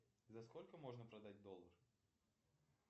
за сколько можно продать доллар